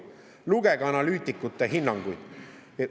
Lugege analüütikute hinnanguid.